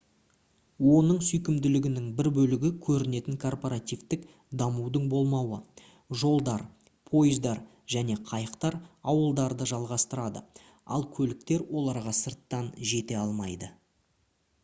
оның сүйкімділігінің бір бөлігі көрінетін корпоративтік дамудың болмауы жолдар пойыздар және қайықтар ауылдарды жалғастырады ал көліктер оларға сырттан жете алмайды